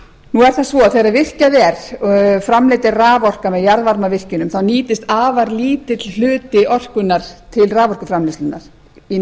nú er það svo þegar virkjað er og framleidd er raforka með jarðvarmavirkjunum þá nýtist afar lítill hluti orkunnar til raforkuframleiðslunnar í